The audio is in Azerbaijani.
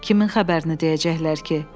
Kimin xəbərini deyəcəklər ki?